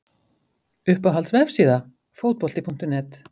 Uppáhalds vefsíða? Fótbolti.net